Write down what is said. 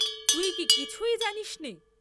তুই কি কিছুই জানিসনে?